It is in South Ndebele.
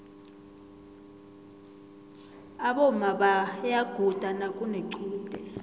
aboma bayaguda nakunequde